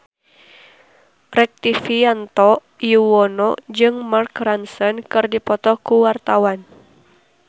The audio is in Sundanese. Rektivianto Yoewono jeung Mark Ronson keur dipoto ku wartawan